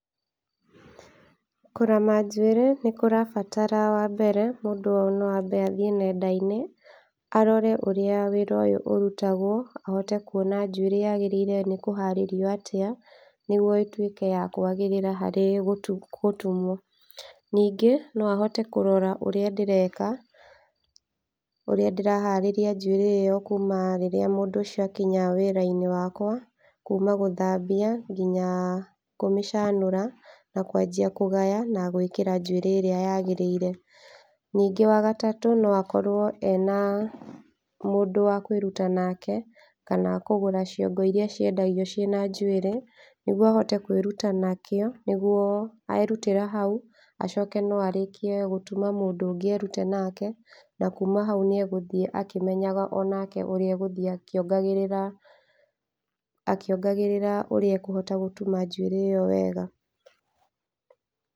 Kũrama njuĩrĩ nĩ kũrabatara wa mbere ,mũndũ no abe athiĩ nenda-inĩ arore ũrĩa wĩra ũyũ ũrutagwo, ahote kuona njuĩrĩ yagĩrĩire nĩ kũharĩrio atĩa nĩguo ĩtwĩke ya kwagĩrĩra harĩ gũtumwo, ningĩ no ahote kũrora ũrĩa ndĩreka, ũrĩa ndĩraharĩria njuĩrĩ ĩyo kuma rĩrĩa mũndũ ũcio akinya wĩra-inĩ wakwa, kuma gũthabia nginya kũmĩcanũra na kwajia kũgaya na gwĩkĩra njuĩrĩ ĩrĩa yagĩrĩire, ningĩ wa gatatũ no akorwo ena mũndũ wa kwĩruta nake kana kũgũra ciongo ĩrĩa ciendagio ciĩna njuĩrĩ , nĩguo ahote kwĩruta nakĩo nĩguo erutĩra hau, acoke no arĩkie gũtuma mũndũ erute nake, na kuma hau nĩ egũthiĩ akĩmenyaga onake ũrĩa egũthiĩ akĩongagĩrĩra akĩongagĩrĩra ũrĩa ekũhota kuoha njuĩrĩ ĩyo wega.